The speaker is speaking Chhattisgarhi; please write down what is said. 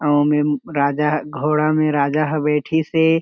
अउ ओमे म राजा ह घोड़ा में राजा ह बैठीस हे।